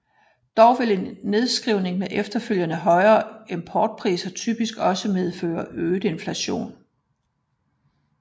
Dog vil en nedskrivning med efterfølgende højere importpriser typisk også medføre øget inflation